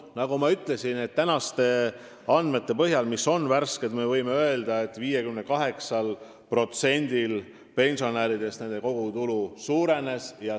Nagu ma ütlesin, võib tänaste värskete andmete põhjal öelda, et 58%-l pensionäridest on kogutulu suurenenud.